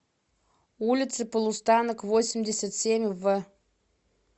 улице полустанок восемьдесят семь в